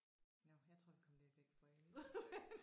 Nåh jeg tror vi kom lidt væk fra emnet